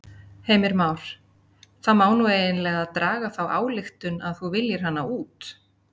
Heimir Már: Það má nú eiginlega draga þá ályktun að þú viljir hana út?